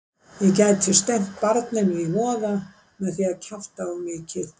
Ég gæti stefnt barninu í voða með því að kjafta of mikið.